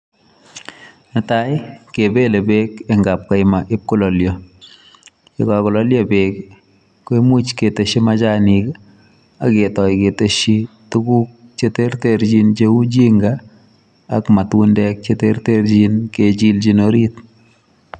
Netai, kebele beek eng kapkaima ibkololio. Ye kagololio beek koimuch keteshi machanik, agetoi keteshi tuguk che tertechin cheu ginger ak matundek che terterchin kechilchin orit.